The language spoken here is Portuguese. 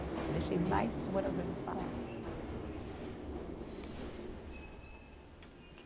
Eu deixei mais os moradores falar.